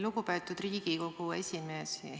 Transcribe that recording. Lugupeetud Riigikogu esimees!